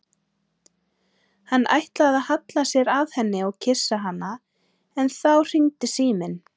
Hann ætlaði að halla sér að henni og kyssa hana en þá hringdi síminn.